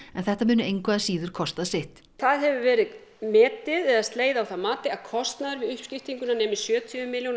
en þetta muni engu að síður kosta sitt það hefur verið metið eða slegið á það mat að kostnaður við uppskiptinguna nemi sjötíu milljónum